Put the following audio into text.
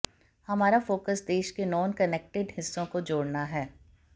हमारा फोकस देश के नॉनकनेक्टेड हिस्सों को जोड़ना है